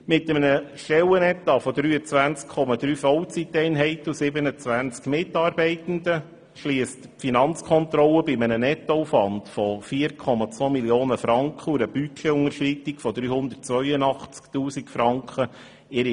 Mit einem Stellenetat von 23,3 Vollzeiteinheiten und 27 Mitarbeitenden, schliesst die Finanzkontrolle ihre Rechnung bei einem Nettoaufwand von 4,2 Mio. Franken und einer Budgetunterschreitung von 382 000 Franken ab.